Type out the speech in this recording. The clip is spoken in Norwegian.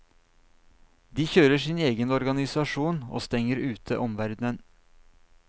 De kjører sin egen organisasjon og stenger ute omverdenen.